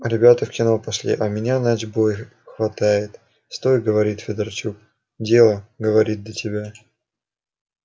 ребята в кино пошли а меня начбой хватает стой говорит федорчук дело говорит до тебя